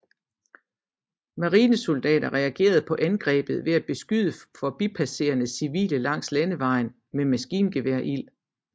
Marinesoldaterne reagerede på angrebet ved at beskyde forbipasserende civile langs landevejen med maskingeværild